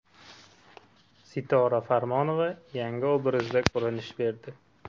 Sitora Farmonova yangi obrazda ko‘rinish berdi.